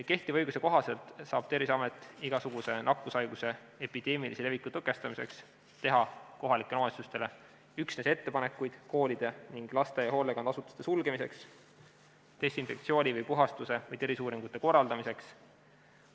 Kehtiva õiguse kohaselt saab Terviseamet igasuguse nakkushaiguse epideemilise leviku tõkestamiseks teha kohalikele omavalitsustele üksnes ettepanekuid koolide ning laste- ja hoolekandeasutuste sulgemiseks desinfektsiooni, puhastuse või terviseuuringute korraldamiseks.